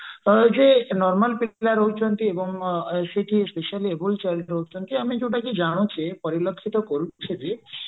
ଯେ normal ପିଲା ରହୁଛନ୍ତି ଆଉ ଯେକି specially abled ପିଲା ରହୁଛନ୍ତି ଆମେ ଯୋଉଟା କି ଜାଣୁଛେ ପରିଲକ୍ଷିତ କରୁଛେ ଯେ